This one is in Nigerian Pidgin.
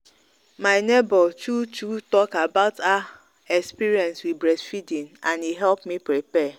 my neighbor true true talk about her experience with breast feeding and e help me prepare.